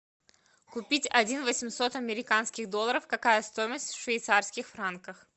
купить один восемьсот американских долларов какая стоимость в швейцарских франках